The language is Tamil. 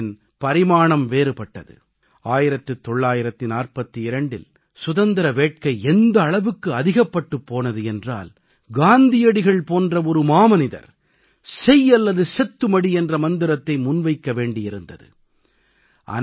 ஒத்துழையாமையின் பரிமாணம் வேறுபட்டது 1942இல் சுதந்திர வேட்கை எந்த அளவுக்கு அதிகப்பட்டுப் போனது என்றால் காந்தியடிகள் போன்ற ஒரு மாமனிதர் செய் அல்லது செத்து மடி என்ற மந்திரத்தை முன்வைக்க வேண்டி இருந்தது